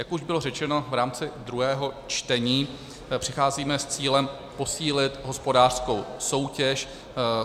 Jak už bylo řečeno v rámci druhého čtení, přicházíme s cílem posílit hospodářskou soutěž.